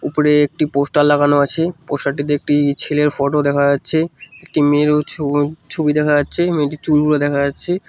উপরে একটি পোস্টার লাগানো আছে পোস্টার -টিতে একটি ছেলের ফটো দেখা যাচ্ছে একটি মেয়েরও ছো ছবি দেখা যাচ্ছে মেয়েটির চুলগুলো দেখা যাচ্ছে।